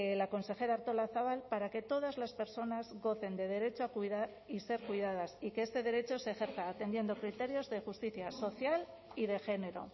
la consejera artolazabal para que todas las personas gocen de derecho a cuidar y ser cuidadas y que este derecho se ejerza atendiendo criterios de justicia social y de género